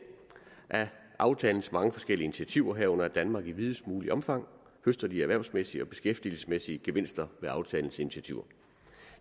af aftalens mange forskellige initiativer herunder at danmark i videst muligt omfang høster de erhvervsmæssige og beskæftigelsesmæssige gevinster af aftalens initiativer